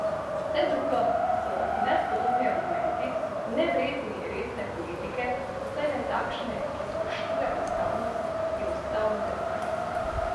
Vse drugo so nespodobni argumenti, nevredni resne politike, vsaj ne takšne, ki spoštuje ustavnost in ustavno demokracijo.